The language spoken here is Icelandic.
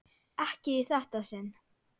Ekki í þetta sinn.